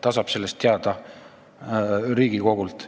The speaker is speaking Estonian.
Ta saab sellest teada Riigikogult.